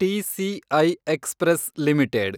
TCI express limited